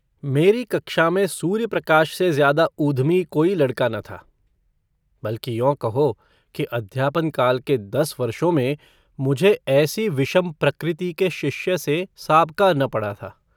मेरी कक्षा में सूर्यप्रकाश से ज्यादा ऊधमी कोई लड़का न था बल्कि यों कहो कि अध्यापनकाल के दस वर्षों में मुझे ऐसी विषम प्रकृति के शिष्य से साबका न पड़ा था।